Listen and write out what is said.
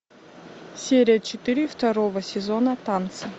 серия четыре второго сезона танцы